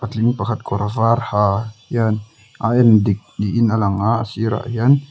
tling pakhat kawr var ha hian a en dik niin a langa a sirah hian.